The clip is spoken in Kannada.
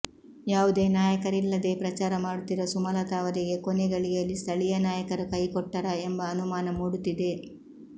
ಯಾವುದೇ ನಾಯಕರಿಲ್ಲದೇ ಪ್ರಚಾರ ಮಾಡುತ್ತಿರುವ ಸುಮಲತಾ ಅವರಿಗೆ ಕೊನೆಗಳಿಗೆಯಲ್ಲಿ ಸ್ಥಳೀಯ ನಾಯಕರು ಕೈ ಕೊಟ್ಟರಾ ಎಂಬ ಅನುಮಾನ ಮೂಡುತ್ತಿದೆ